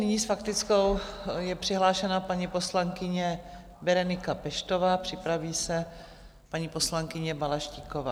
Nyní s faktickou je přihlášena paní poslankyně Berenika Peštová, připraví se paní poslankyně Balaštíková.